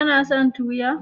Kana son toya?